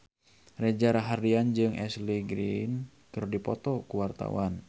Reza Rahardian jeung Ashley Greene keur dipoto ku wartawan